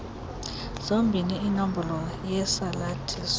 zombini inombolo yesalathiso